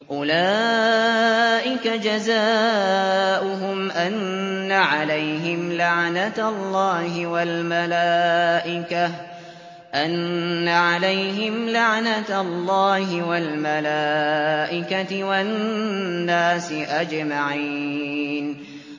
أُولَٰئِكَ جَزَاؤُهُمْ أَنَّ عَلَيْهِمْ لَعْنَةَ اللَّهِ وَالْمَلَائِكَةِ وَالنَّاسِ أَجْمَعِينَ